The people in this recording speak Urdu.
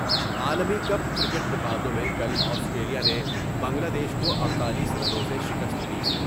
عالمی کپ کرکٹ مقابلوں میں کل آسٹریلیاء نے بنگلہ دیش کو اڈتالیس رنوں سے شکست دی ۔